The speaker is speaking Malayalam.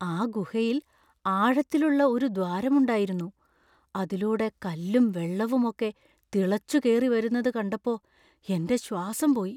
ആ ഗുഹയിൽ ആഴത്തിലുള്ള ഒരു ദ്വാരമുണ്ടായിരുന്നു; അതിലൂടെ കല്ലും വെള്ളവും ഒക്കെ തിളച്ചുകേറിവരുന്നത് കണ്ടപ്പോ എൻ്റെ ശ്വാസം പോയി.